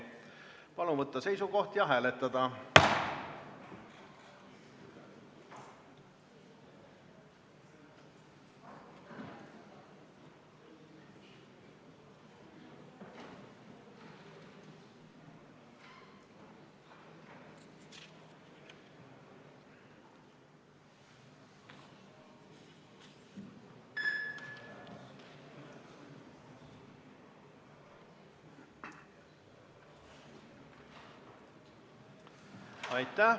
Palun võtta seisukoht ja hääletada!